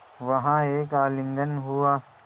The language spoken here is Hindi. वहाँ एक आलिंगन हुआ